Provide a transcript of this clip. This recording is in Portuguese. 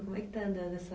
Como é que está andando essa